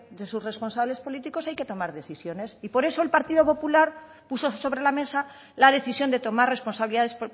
de sus responsables políticos hay que tomar decisiones y por eso el partido popular puso sobre la mesa la decisión de tomar responsabilidades